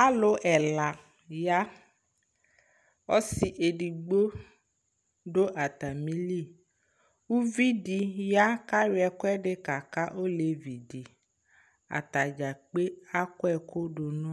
Alʋ ɛla ya Ɔsɩ edigbo dʋ atamɩli Uvi dɩ ya kʋ ayɔ ɛkʋɛdɩ kaka olevi dɩ Ata dza kpe akɔ ɛkʋ dʋ nʋ